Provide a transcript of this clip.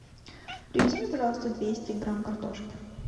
привези мне пожалуйста двести грамм картошки